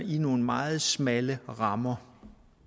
i nogle meget smalle rammer